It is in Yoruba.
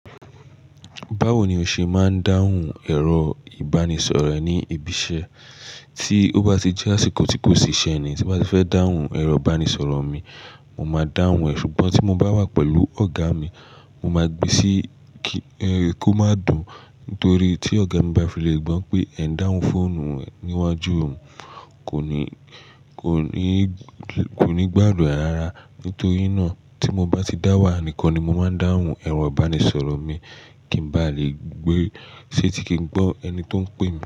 Báwo ni o ṣe máa ń dáhùn ẹ̀rọ ìbánisọ̀rọ̀ rẹ ní ibi iṣẹ́? Tí ó bá ti jẹ́ àsìkò tí kò sí iṣẹ́ ni tí bá ti fẹ́ dáhùn ẹ̀rọ ìbánisọ̀rọ̀ mi, mo máa dáhùn ẹ̀. Ṣùgbọ́n tí mo bá wà pẹ̀lú ọ̀gá mi, mo máa gbe sí kí, ẹ, kó má dùn. Nítorí tí ọ̀gá mi bá filẹ̀ gbọ́ pé ẹ̀ ń dáhùn fóònù rẹ̀ níwájú òun, kò ní, kò ní, kò ní gbàdùn rẹ rárá. Nítorí náà tí mo bá ti dá wà nìkan ni mo máa ń dáhùn ẹ̀rọ ìbánisọ̀rọ̀ mi kí n bá lè gbé, ṣé tí kì í gbọ́ ẹni tí ó ń pè mi.